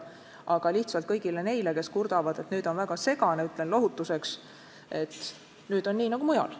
Aga kõigile neile, kes kurdavad, et nüüd on süsteem väga segane, ütlen lohutuseks, et nüüd on meil nii nagu mujal.